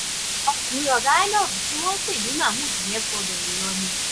ọkùnrin ọgá inov tí wọn ń pè ní mahmood yẹn gbọdọ lọ ni